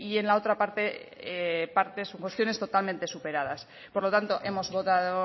en la otra parte son cuestiones totalmente superadas por lo tanto hemos votado